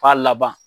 K'a laban